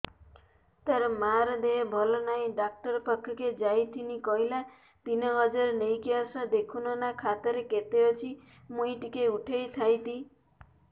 ତାର ମାର ଦେହେ ଭଲ ନାଇଁ ଡାକ୍ତର ପଖକେ ଯାଈଥିନି କହିଲା ତିନ ହଜାର ନେଇକି ଆସ ଦେଖୁନ ନା ଖାତାରେ କେତେ ଅଛି ମୁଇଁ ଟିକେ ଉଠେଇ ଥାଇତି